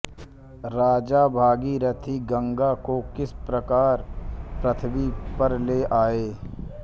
राजा भगीरथ गंगा को किस प्रकार पृथ्वी पर ले आये